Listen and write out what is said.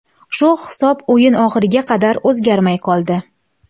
Shu hisob o‘yin oxiriga qadar o‘zgarmay qoldi.